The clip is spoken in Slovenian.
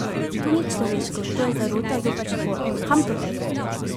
To ni človeško, to je zarota zoper šport, kam to pelje?